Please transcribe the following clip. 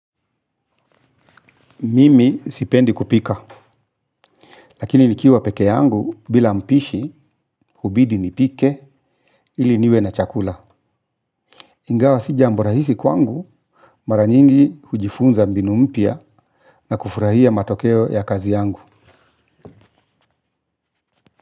Mimi sipendi kupika, lakini nikiwa pekee yangu bila mpishi hubidi nipike ili niwe na chakula. Ingawa si jambo rahisi kwangu mara nyingi hujifunza mbinu mpya na kufurahia matokeo ya kazi yangu.